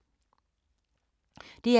DR2